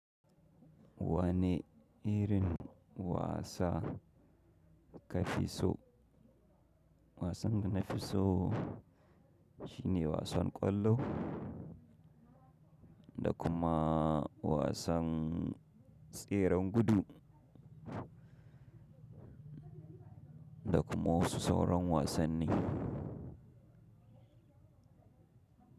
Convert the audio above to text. Wane irin wasa ka fi so? Wasan da na fi so shine wasan ƙwallo, da kuma wasan tseren gudu, da kuma wasu sauran wasanni.